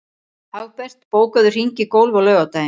Hagbert, bókaðu hring í golf á laugardaginn.